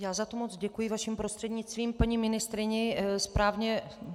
Já za to moc děkuji, vaším prostřednictvím, paní ministryni.